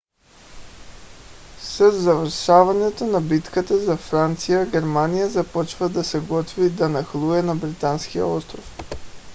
със завършването на битката за франция германия започва да се готви да нахлуе на британския остров